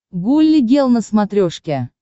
гулли гел на смотрешке